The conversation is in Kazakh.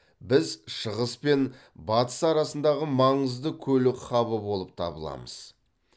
біз шығыс пен батыс арасындағы маңызды көлік хабы болып табыламыз